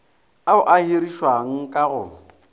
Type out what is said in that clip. ao a hirišiwang ka go